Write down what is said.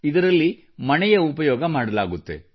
ಇದರಲ್ಲಿ ಮಣೆಯ ಉಪಯೋಗ ಮಾಡಲಾಗುತ್ತದೆ